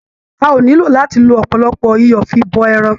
A ò nílò láti lo ọ̀pọ̀lọpọ̀ iyọ̀ fi bọ ẹran.